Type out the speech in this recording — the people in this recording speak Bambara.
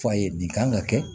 F'a ye nin kan ka kɛ